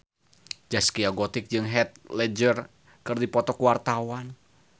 Zaskia Gotik jeung Heath Ledger keur dipoto ku wartawan